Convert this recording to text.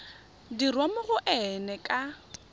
dirwa mo go ena ka